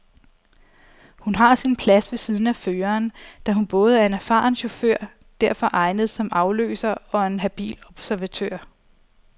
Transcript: Hun har sin plads ved siden af føreren, da hun både er en erfaren chauffør, derfor egnet som afløser, og en habil observatør.